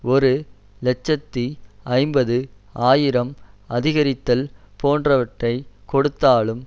ஒரு இலட்சத்தி ஐம்பது ஆயிரம் அதிகரித்தல் போன்றவற்றை கொடுத்தாலும்